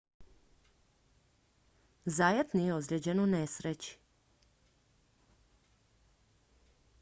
zayat nije ozlijeđen u nesreći